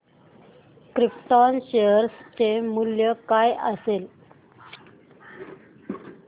krypton share चे मूल्य काय असेल